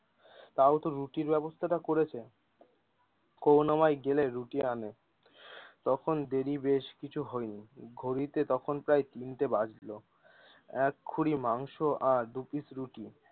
তাওতো রুটির ব্যবস্থা টা করেছে করুনাময় গেলে রুটি আনে। তখন দেরি বেশ কিছু হয়নি ঘড়িতে তখন প্রায় তিনটা বাজলো এক খুঁড়ি মাংস আর দুই পিস রুটি।